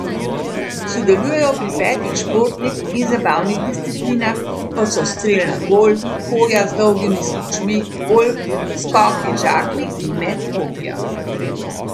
Sodelujejo pri petih športnih in zabavnih disciplinah, kot so strel na gol, hoja z dolgimi smučmi, golf, skoki z žaklji in met kopija.